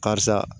Karisa